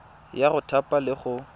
ya go thapa le go